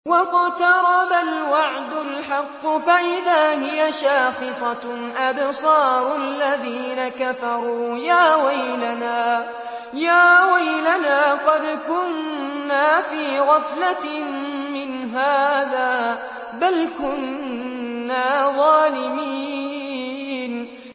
وَاقْتَرَبَ الْوَعْدُ الْحَقُّ فَإِذَا هِيَ شَاخِصَةٌ أَبْصَارُ الَّذِينَ كَفَرُوا يَا وَيْلَنَا قَدْ كُنَّا فِي غَفْلَةٍ مِّنْ هَٰذَا بَلْ كُنَّا ظَالِمِينَ